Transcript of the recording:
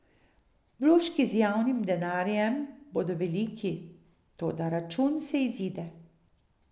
Vložki z javnim denarjem bodo veliki, toda račun se izide.